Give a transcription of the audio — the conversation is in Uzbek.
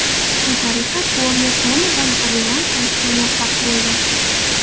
Shu tariqa Porye Konordan revansh olishga muvaffaq bo‘ldi.